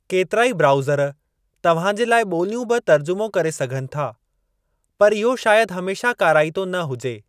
केतिराई ब्राउज़र तव्हां जे लाइ ॿोलियूं बि तर्जुमो करे सघनि था, पर इहो शायदि हमेशा काराइतो न हुजे।